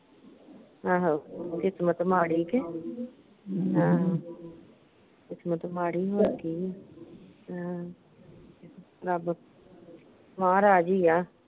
ਆਹੋ ਕਿਸਮਤ ਮਾੜੀ ਕਿ ਆਹ ਕਿਸਮਤ ਮਾੜੀ ਹੋਰ ਕਿ ਆਹ ਰੱਬ ਮਹਾਰਾਜ ਈ ਆ।